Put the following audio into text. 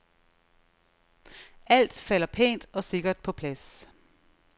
Alt falder pænt og sikkert på plads.